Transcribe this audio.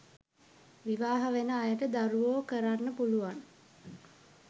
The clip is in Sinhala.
විවාහ වෙන අයට දරුවෝකරන්න පුළුවන්